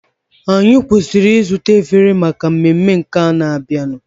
Anyị kwesịrị ịzụta efere maka mmemme nke na-abịanụ.